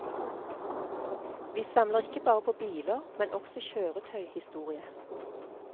Vi samler ikke bare på biler, men også kjøretøyhistorie.